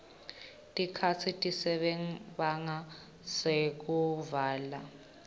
tikhatsi tasebhange tekuvala